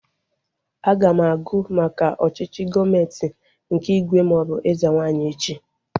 Aga m agụ maka ọchịchị gọọmenti nke ígwè maọbụ eze nwaanyị echi